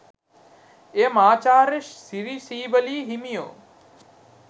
එය මහාචාර්ය සිරි සීවලී හිමියෝ